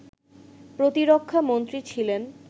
প্রতিরক্ষা মন্ত্রী ছিলেন